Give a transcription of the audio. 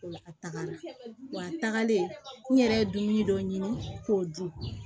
O la a tagalen wa tagalen n yɛrɛ dumuni dɔ ɲini k'o dun